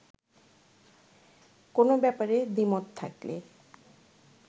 কোনো ব্যাপারে দ্বিমত থাকলে